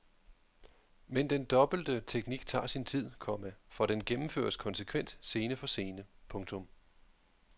Men den dobbelte teknik tager sin tid, komma for den gennemføres konsekvent scene for scene. punktum